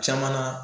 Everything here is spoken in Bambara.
Caman na